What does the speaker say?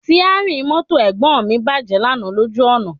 Síárìn mọ́tò Ẹ̀gbọ́n mi bàjẹ́ lánàá lójú ọ̀nà